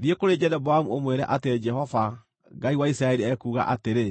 Thiĩ, kũrĩ Jeroboamu ũmwĩre atĩ Jehova, Ngai wa Isiraeli ekuuga atĩrĩ: